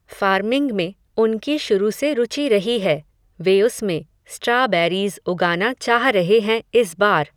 farming में, उनकी शुरू से रुचि रही है, वे उसमें, स्ट्राबैरीज़ उगाना चाह रहे हैं इस बार